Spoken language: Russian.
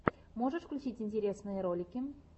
можешь включить интересные ролики